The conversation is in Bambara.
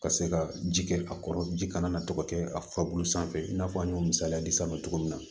Ka se ka ji kɛ a kɔrɔ ji kana na tɔgɔ kɛ a fa bulu sanfɛ i n'a fɔ an y'o misaliya di san ma cogo min na